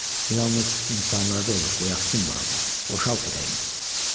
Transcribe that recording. Bu yalnız insanlarda olur, qoy axsın Maquli, boşalt ürəyini.